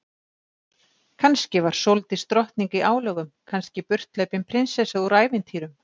Kannski var Sóldís drottning í álögum, kannski burthlaupin prinsessa úr ævintýrum.